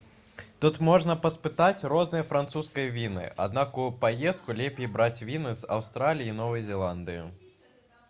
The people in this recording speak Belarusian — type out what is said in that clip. тут можна паспытаць розныя французскія віны аднак у паездку лепей браць віны з аўстраліі і новай зеландыі